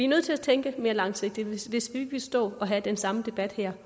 nødt til at tænke mere langsigtet hvis vi ikke vil stå og have den samme debat her